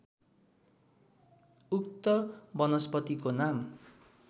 उक्त वनस्पतिको नाम